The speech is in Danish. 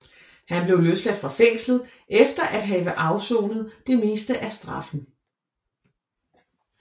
Han blev løsladt fra fængslet efter at have afsonet det meste af straffen